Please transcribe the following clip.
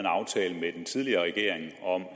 en tidligere regering om